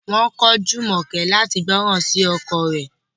Wọn ko Jumoke lati gbọran si ọkọ rẹ̀